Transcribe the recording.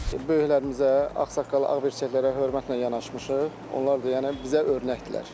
Böyüklərimizə, ağsaqqal, ağbirçəklərə hörmətlə yanaşmışıq, onlar da yəni bizə örnəkdirlər.